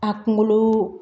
A kunkolo